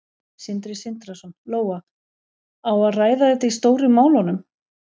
Sindri Sindrason: Lóa, á að ræða þetta í Stóru málunum?